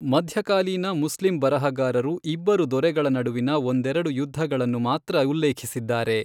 ಮಧ್ಯಕಾಲೀನ ಮುಸ್ಲಿಂ ಬರಹಗಾರರು ಇಬ್ಬರು ದೊರೆಗಳ ನಡುವಿನ ಒಂದೆರಡು ಯುದ್ಧಗಳನ್ನು ಮಾತ್ರ ಉಲ್ಲೇಖಿಸಿದ್ದಾರೆ.